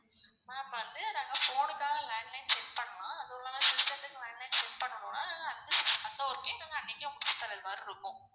ma'am வந்து நாங்க phone னுக்காக landline set பண்லாம் அதும் இல்லாம system துக்கு landline set பண்ணுன்னா okay இல்லன்னா அன்னிக்கே முடிச்சித்தரமாறி இருக்கும்.